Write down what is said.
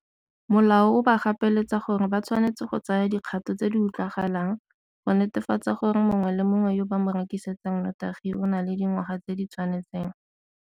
Molao o ba gapeletsa gore ba tshwanetse go tsaya dikgato tse di utlwagalang go netefatsa gore mongwe le mongwe yo ba mo rekisetsang notagi o na le dingwaga tse di tshwanetseng.